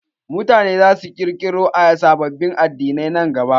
Mutane zasu iya ƙirƙiro sababbin addinai nan gaba.